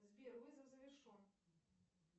сбер вызов завершен